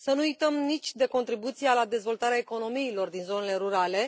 Să nu uităm nici de contribuția la dezvoltarea economiilor din zonele rurale.